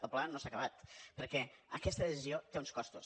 el problema no s’ha acabat perquè aquesta decisió té uns costos